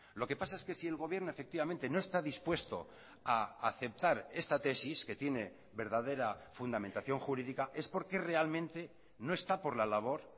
lo que pasa es que si el gobierno efectivamente no está dispuesto a aceptar esta tesis que tiene verdadera fundamentación jurídica es porque realmente no está por la labor